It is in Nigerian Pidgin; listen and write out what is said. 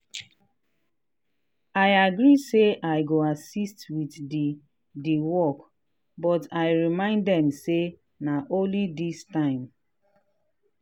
i agree say i go assist with the the work but i remind them say na only this time.